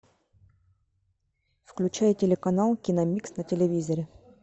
включай телеканал киномикс на телевизоре